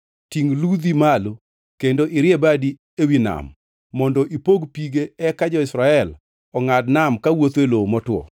Tingʼ ludhi malo kendo irie badi ewi nam mondo ipog pige eka jo-Israel ongʼad nam kawuotho e lowo motwo.